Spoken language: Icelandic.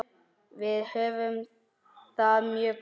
Við höfum það mjög gott.